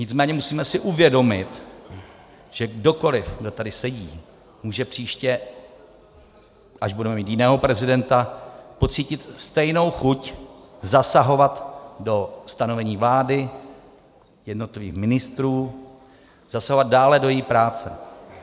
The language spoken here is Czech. Nicméně musíme si uvědomit, že kdokoli, kdo tady sedí, může příště, až budeme mít jiného prezidenta, pocítit stejnou chuť zasahovat do stanovení vlády, jednotlivých ministrů, zasahovat dále do její práce.